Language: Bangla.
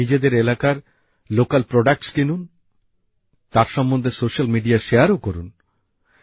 আপনারা নিজেদের এলাকার স্থানীয় পণ্য কিনুন তার সম্বন্ধে সোশ্যাল মিডিয়ায় শেয়ারও করুন